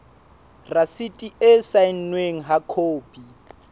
rasiti e saennweng ha khopi